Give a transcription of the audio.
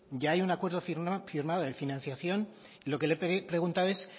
ya hay un acuerdo firmado de financiación lo que le he preguntado es